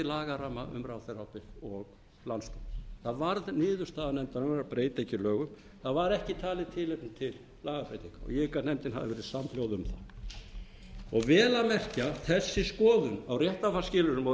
lagaramma um ráðherraábyrgð og landsdóm það varð niðurstaða nefndarinnar að breyta ekki lögum það var ekki talið tilefni til lagabreytinga og ég hygg að nefndin hafi verið samhljóða um það vel að merkja þessi skoðun á réttarfarsskilyrðum og